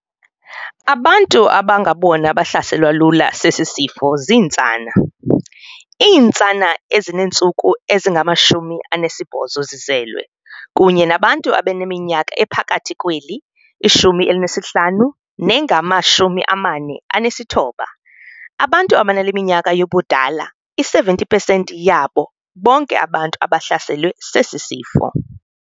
Abantu abangabona bahlaselwa lula sesi sifo zintsana - iintsana ezineentsuku ezingama-28 zizelwe, kunye nabantu abaneminyaka ephakathi kweli-15 nengama-49. Abantu abanale minyaka yobudala benza i-70 pesenti yabo bonke abantu abahlaselwe sesi sifo.